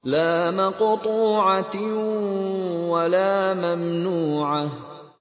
لَّا مَقْطُوعَةٍ وَلَا مَمْنُوعَةٍ